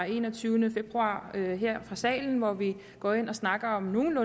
enogtyvende februar her her fra salen hvor vi går ind og snakker om nogle